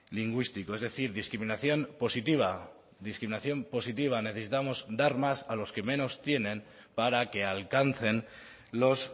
lingüístico es decir discriminación positiva discriminación positiva necesitamos dar más a los que menos tienen para que alcancen los